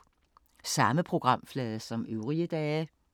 Samme programflade som øvrige dage